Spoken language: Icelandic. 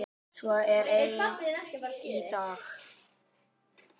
Svo er enn í dag.